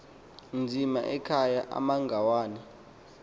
nzima ekhaya amangwane